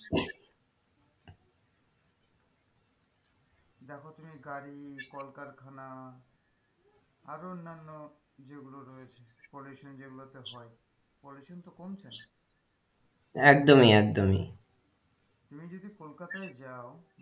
দেখো তুমি গাড়ি কলকারখানা আরো অন্যান্য যেগুলো রয়েছে pollution যেগুলোতে হয় pollution তো কমছে না একদমই একদমই তুমি যদি কলকাতায় যাও,